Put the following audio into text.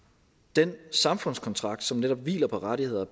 den samfundskontrakt som netop hviler på rettigheder